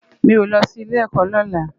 Mi ó lò si ilé èkò lòlá